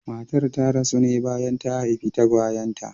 Matar ta rasu ne bayan ta haifi tagwayen ta.